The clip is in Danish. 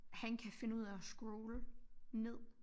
Han kan finde ud af at scrolle ned